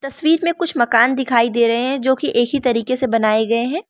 तस्वीर में कुछ मकान दिखाई दे रहे हैं जो की एक ही तरीके से बनाए गए हैं।